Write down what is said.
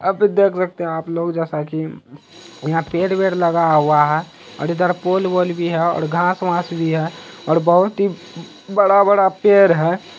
आप ये देख सकते हैं आप लोग जैसा की यहाँ पेड़ वेड़ लगा हुआ है और इधर पोल वोल भी है और घास वास भी है और बोहत ही बड़ा बड़ा पेड़ है।